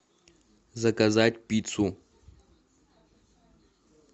заказать пиццу